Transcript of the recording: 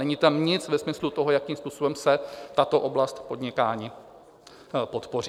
Není tam nic ve smyslu toho, jakým způsobem se tato oblast podnikání podpoří.